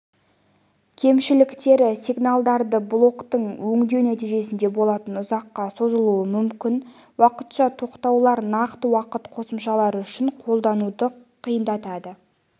кемшіліктері сигналдарды блоктык өңдеу нәтижесінде болатын ұзаққа созылуы мүмкін уақытша тоқтаулар нақты уақыт қосымшалары үшін қолдануды қиындатады